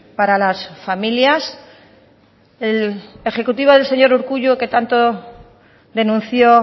para las familias el ejecutivo del señor urkullu que tanto denunció